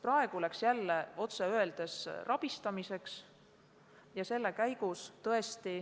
Praegu läks jälle otse öeldes rabistamiseks.